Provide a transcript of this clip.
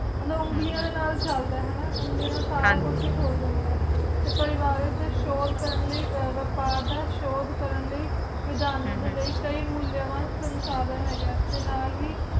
ਹੈ ਨਾ ਉਂਗਲੀਆਂ ਹਮ ਦੇ ਨਾਲ ਚਲਦਾ ਹੈ ਨਾ ਉਂਗਲੀਆਂ ਨਾਲ ਸਾਰਾ ਹਨ ਜੀ ਕੁਛ ਖੁਲ ਜਾਂਦਾ ਤੇ ਪਰਿਵਾਰ ਵਿਚ ਸੂਰੇ ਕਾਰਨ ਲਾਇ ਵਪਾਰ ਦਾ ਸ਼ੋਦੇ ਕਾਰਨ ਲਾਇ ਹਮ ਪ੍ਰਦਾਨ ਲਾਇ ਕਈ ਮਉਲਿਆ ਵਾਲ ਸੰਸਾਰੇਂ ਹੈਗਾ ਤੇ ਨਾਲ ਹੀ